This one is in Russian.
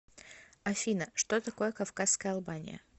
афина что такое кавказская албания